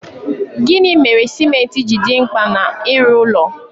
Gịnị mere cimenti ji dị mkpa n'ịrụ ụlọ?